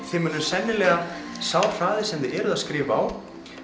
þið munuð sennilega sá hraði sem þið eruð að skrifa á